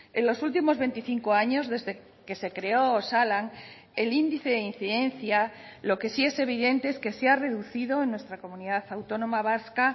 en los últimos veinticinco años desde que se creó osalan el índice de incidencia lo que sí es evidente es que se ha reducido en nuestra comunidad autónoma vasca